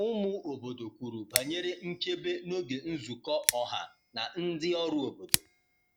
Ụmụ obodo kwuru banyere nchebe n’oge nzukọ ọha na ndị ọrụ obodo.